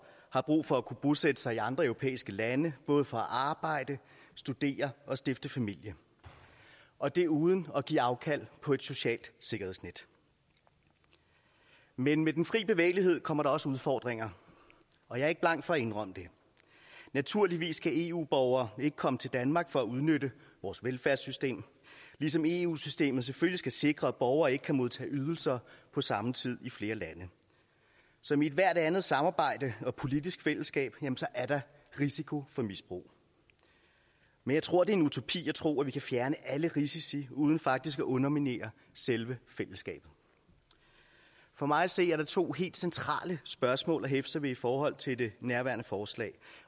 har brug for at kunne bosætte sig i andre europæiske lande både for at arbejde studere og stifte familie og det uden at give afkald på et socialt sikkerhedsnet men med den fri bevægelighed kommer der også udfordringer og jeg er ikke bleg for at indrømme det naturligvis skal eu borgere ikke komme til danmark for at udnytte vores velfærdssystem ligesom eu systemet selvfølgelig skal sikre at borgere ikke kan modtage ydelser på samme tid i flere lande som i ethvert andet samarbejde og politisk fællesskab er der risiko for misbrug men jeg tror at en utopi at tro at vi kan fjerne alle risici uden faktisk at underminere selve fællesskabet for mig at se er der to helt centrale spørgsmål at hæfte sig ved i forhold til det nærværende forslag